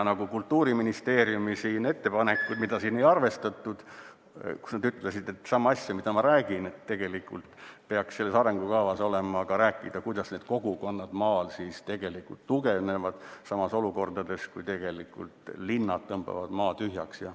Nagu Kultuuriministeeriumi ettepanekutes – mida siin ei arvestatud, kus nad ütlesid sama asja, mida ma räägin –, et tegelikult peaks selles arengukavas olema ka räägitud, kuidas need kogukonnad maal tegelikult tugevnevad olukorras, kus linnad tõmbavad maa tühjaks.